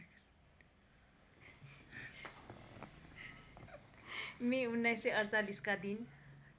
मे १९४८ का दिन